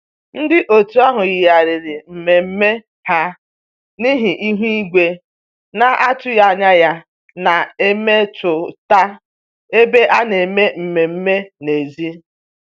Ndị otu ahụ yigharịrị mmemme ha n'ihi ihu igwe na-atụghị anya ya na-emetụta ebe a na-eme mmemme n'èzí